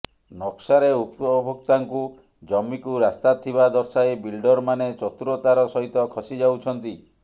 ନକ୍ସାରେ ଉପଭୋକ୍ତାଙ୍କୁ ଜମିକୁ ରାସ୍ତା ଥିବା ଦର୍ଶାଇ ବିଲ୍ଡରମାନେ ଚତୁରତାର ସହିତ ଖସି ଯାଉଛନ୍ତି